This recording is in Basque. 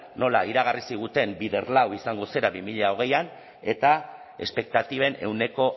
nola iragarri ziguten bider lau izango zela bi mila hogeian eta espektatiben ehuneko